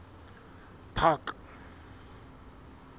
park